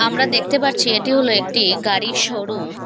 আমরা দেখতে পারছি এটি হল একটি গাড়ির শোরুম ।